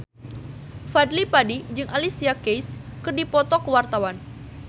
Fadly Padi jeung Alicia Keys keur dipoto ku wartawan